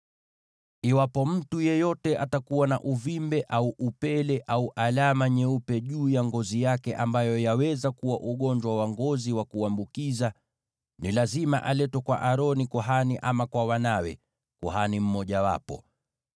“Iwapo mtu yeyote atakuwa na uvimbe au upele au alama nyeupe juu ya ngozi yake ambayo yaweza kuwa ugonjwa wa ngozi wa kuambukiza, ni lazima aletwe kwa Aroni kuhani ama kwa wanawe, kuhani mmojawapo.